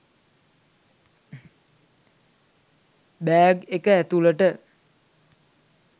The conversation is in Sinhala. බෑග් එක ඇතුලට